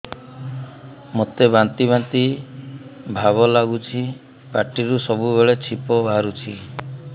ମୋତେ ବାନ୍ତି ବାନ୍ତି ଭାବ ଲାଗୁଚି ପାଟିରୁ ସବୁ ବେଳେ ଛିପ ବାହାରୁଛି